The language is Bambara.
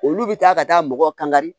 Olu bɛ taa ka taa mɔgɔ kankari